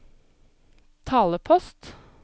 talepost